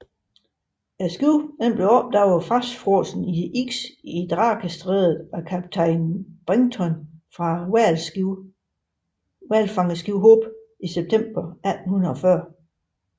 Skibet blev opdaget fastfrosset i isen i Drakestrædet af en kaptajn Brighton fra hvalfangerskibet Hope i september 1840